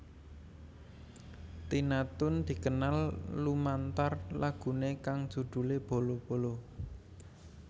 Tina Toon dikenal lumantar laguné kang judhulé Bolo Bolo